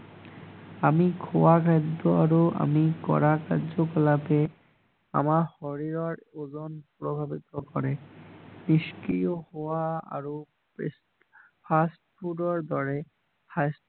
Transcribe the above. আমি খোৱা আৰু আমি কৰা কাৰ্য্য কলাপে আমাৰ শৰীৰৰ ওজন প্ৰভাৱিত কৰে হোৱা আৰু ফাষ্ট ফোদ ৰ দৰে